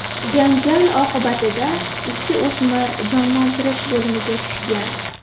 Janjal oqibatida ikki o‘smir jonlantirish bo‘limiga tushgan.